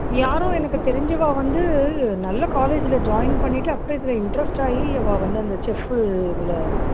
யாரோ எனக்கு தெரிஞ்சவா வந்து நல்லா college ல பண்ணிட்டு அப்பறம் இதுல interest ஆயி அவா வந்து அந்த chief உ இது